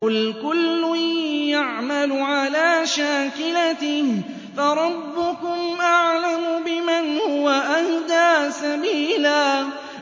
قُلْ كُلٌّ يَعْمَلُ عَلَىٰ شَاكِلَتِهِ فَرَبُّكُمْ أَعْلَمُ بِمَنْ هُوَ أَهْدَىٰ سَبِيلًا